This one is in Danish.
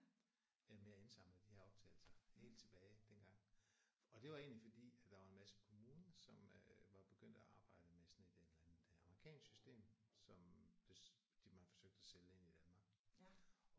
Med at indsamle de her optagelser helt tilbage dengang. Og det var egentlig fordi at der var en masse kommuner som øh var begyndt at arbejde med sådan et et eller andet et amerikansk system som de man forsøgte at sælge ind i Danmark